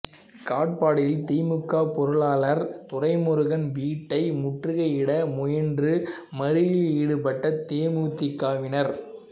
காட்பாடியில் திமுக பொருளாளர் துரைமுருகன் வீட்டை முற்றுகையிட முயன்று மறியலில் ஈடுபட்ட தேமுதிகவினர்